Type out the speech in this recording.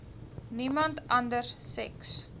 niemand anders seks